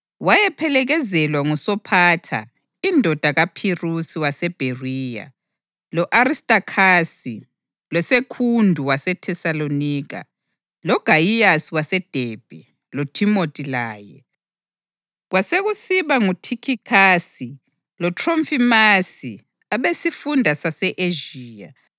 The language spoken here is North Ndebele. Wayephelekezelwa nguSophatha indodana kaPhirusi waseBheriya, lo-Aristakhasi, loSekhundu waseThesalonika, loGayiyasi waseDebhe, loThimothi laye, kwasekusiba nguThikhikhasi loThrofimasi abesifunda sase-Ezhiya.